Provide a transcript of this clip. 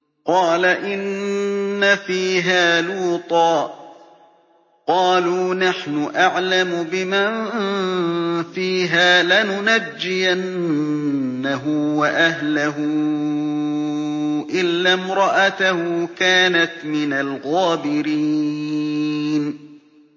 قَالَ إِنَّ فِيهَا لُوطًا ۚ قَالُوا نَحْنُ أَعْلَمُ بِمَن فِيهَا ۖ لَنُنَجِّيَنَّهُ وَأَهْلَهُ إِلَّا امْرَأَتَهُ كَانَتْ مِنَ الْغَابِرِينَ